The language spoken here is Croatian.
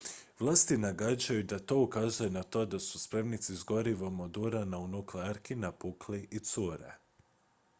vlasti nagađaju da to ukazuje na to da su spremnici s gorivom od urana u nuklearki napukli i cure